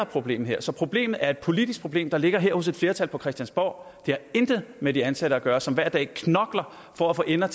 problem her så problemet er et politisk problem der ligger her hos et flertal på christiansborg det har intet med de ansatte at gøre som hver dag knokler for at få ender